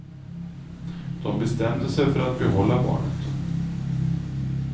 De bestämde sig för att behålla barnet.